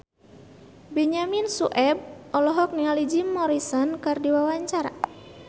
Benyamin Sueb olohok ningali Jim Morrison keur diwawancara